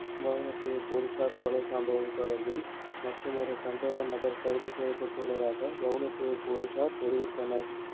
வவுணத்தீவு பொலிஸார் கொலை சம்பவம் தொடர்பில் மற்றுமொறு சந்தேகநபர் கைது செய்யப்பட்டுள்ளதாக வவுணத்தீவு பொலிஸார் தெரிவித்தனர்